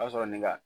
O y'a sɔrɔ ne ka